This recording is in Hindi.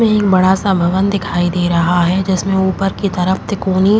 इसमें एक बड़ा सा भवन दिखाई दे रहा है जिसमें ऊपर की तरफ तिकोनी --